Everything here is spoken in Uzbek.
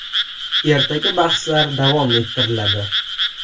Ertaga bahslar davom ettiriladi.